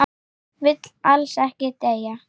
Vill alls ekki deyja.